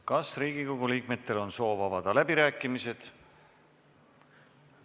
Kas Riigikogu liikmetel on soovi avada läbirääkimised?